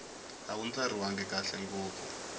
a wu ndlariwangi kahle ngopfu